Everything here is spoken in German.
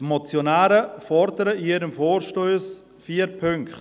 Die Motionäre fordern in ihrem Vorstoss vier Punkte: